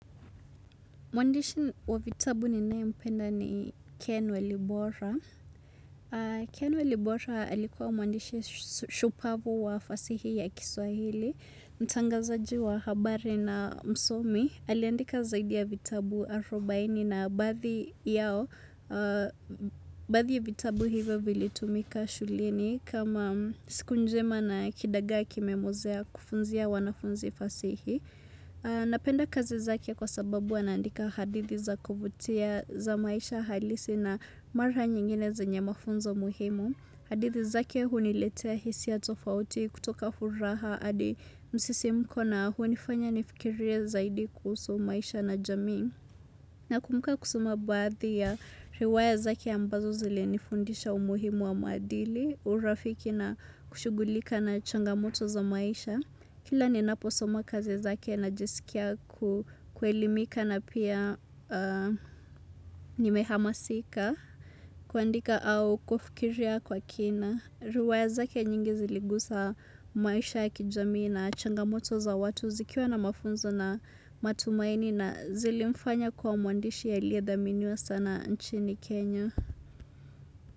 Mwandishi wa vitabu ninae mpenda ni Ken Welibora. Ken Walibora alikuwa mwandishi shupavu wa fasihi ya kiswahili. Mtangazaji wa habari na msomi. Aliandika zaidi ya vitabu arubaini na baadhi yao. Baadhi ya vitabu hivyo vilitumika shuleni. Kama siku njema na kidagaa kimemwozea kufunzia wanafunzi fasihi. Napenda kazi zake kwa sababu anaandika hadithi za kuvutia za maisha halisi na mara nyingine zenye mafunzo muhimu. Hadithi zake huniletea hisia tofauti kutoka furaha hadi msisimko na hunifanya nifikiria zaidi kuhusu maisha na jamii. Na kumbuka kusuma baadhi ya riwaya zake ambazo zilinifundisha umuhimu wa maadili, urafiki na kushugulika na changamoto za maisha. Kila ninaposoma kazi zake najisikia kuelimika na pia nimehamasika, kuandika au kufikiria kwa kina. Riwaya zake nyingi ziligusa maisha ya kijamii na changamoto za watu zikiwa na mafunzo na matumaini na zilimfanya kuwa mwandishi aliyedhaminiwa sana nchini Kenya.